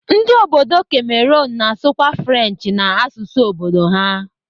Ndi obodo Cameroon na-asụkwa French na asụsụ obodo ha.